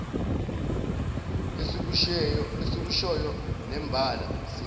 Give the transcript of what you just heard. esikushoyo nembala siyakwenza